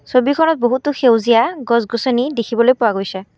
ছবিখনত বহুতো সেউজীয়া গছ-গছনী দেখিবলৈ পোৱা গৈছে।